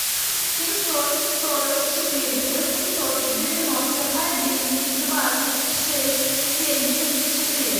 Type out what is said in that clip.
семьсот сорок четыре восемьсот девяносто один двадцать шесть семьдесят четыре